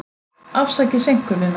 Afsakið seinkunina.